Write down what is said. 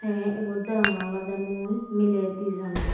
te ibot degonge olode mui mile dijon.